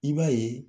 I b'a ye